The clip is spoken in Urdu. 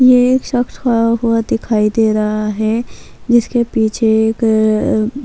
یہ ایک شخص کھڈا دکھایی دے رہا ہے جسکے پیچھے ایک --